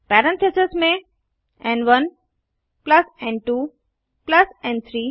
parentheses में एन1 plus एन2 प्लस एन3